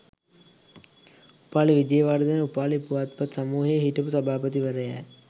උපාලි විජේවර්ධන උපාලි පුවත්පත් සමූහයේ හිටපු සභාපතිවරයාය